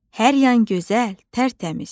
Hər yan gözəl, tərtəmiz.